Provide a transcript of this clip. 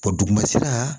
duguma sira